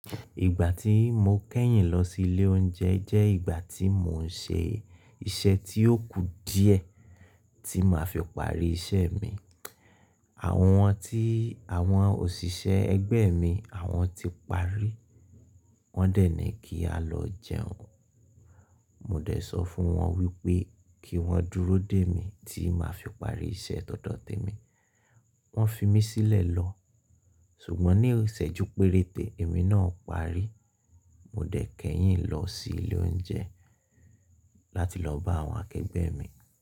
Ìgbà tí mo kẹ́yìn lọ sí ilé oúnjẹ jẹ́ ìgbà tí mò ń ṣe iṣẹ́ tí ó kù díẹ̀ tí máa fi parí iṣẹ́ mi. Àwọn tí, àwọn òṣìṣẹ́ ẹgbẹ́ mi àwọn ti parí. Wọ́n dènì kí a lọ jẹun. Mò dẹ̀ sọ fún wọn wípé kí wọ́n dúró dè mí tí màá fi parí iṣẹ́ tódọ̀ temi. Wọ́n fi mí sílẹ̀ lọ. Ṣùgbọ́n ní ìsẹ́jú péréte, èmi náà parí. Mò dẹ̀ kẹ́yìn lọ sí ilé oúnjẹ láti lọ bá àwọn akẹgbẹ́ mi.